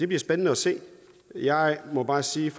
bliver spændende at se jeg må bare sige